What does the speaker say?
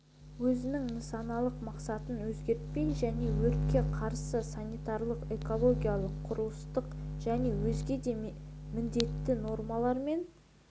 өзінің нысаналы мақсатын өзгертпей және өртке қарсы санитарлық экологиялық құрылыстық және өзге де міндетті нормалар мен